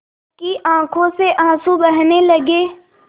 उसकी आँखों से आँसू बहने लगे